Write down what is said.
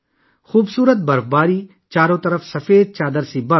خوبصورت برف باری، چاروں طرف برف جیسی سفید چادر